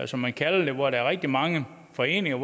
som man kalder det hvor der er rigtig mange foreninger